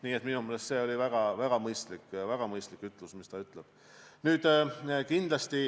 Nii et minu meelest oli see väga mõistlik, mis ta ütles.